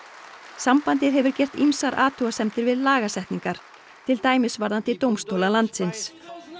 sambandið hefur gert ýmsar athugasemdir við lagasetningar til dæmis er varða dómstóla landsins